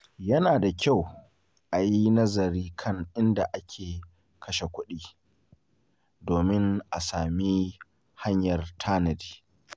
Yana da kyau a yi nazari kan inda ake kashe kuɗi domin a sami hanyar tanadi.